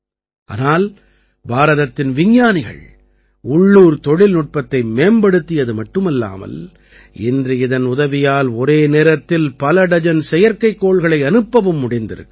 ஆனால் பாரதத்தின் விஞ்ஞானிகள் உள்ளூர் தொழில்நுட்பத்தை மேம்படுத்தியது மட்டுமல்லாமல் இன்று இதன் உதவியால் ஒரே நேரத்தில் பலடஜன் செயற்கைக்கோள்களை அனுப்பவும் முடிந்திருக்கிறது